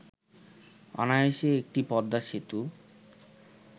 অনায়াসে একটি পদ্মা সেতু